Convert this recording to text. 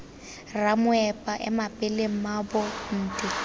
ramoepa ema pele mmaabo nte